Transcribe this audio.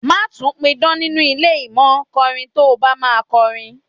Má tún pidán nínú ilé yìí mó, kọrin tó bá máa kọrin.